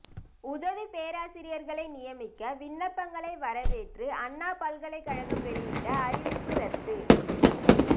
உதவி பேராசிரியர்களை நியமிக்க விண்ணப்பங்களை வரவேற்று அண்ணா பல்கலை வெளியிட்ட அறிவிப்பு ரத்து